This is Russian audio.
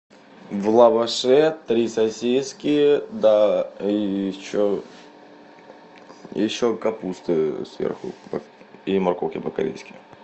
в лаваше три сосиски да и еще еще капусты сверху или морковки по корейски